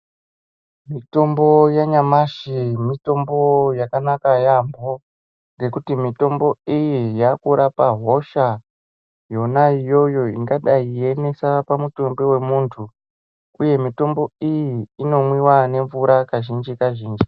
Mitombo yanyamashi mitombo yakanaka yampho nekuti mitombo iyi yakurapa hosha Yona iyoyo ingadai yeinesa pamutumbi wemuntu uye mitombo iyi inonwiwa nemvura kazhinji kazhinj.